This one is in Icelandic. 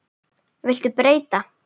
Viltu breyta?